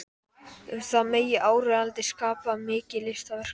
Um það megi áreiðanlega skapa mikið listaverk.